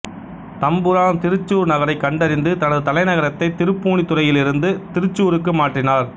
தம்புரான் திருச்சூர் நகரை கண்டறிந்து தனது தலைநகரத்தை திருப்பூணித்துறையிலிருந்து திருச்சூருக்கு மாற்றினார்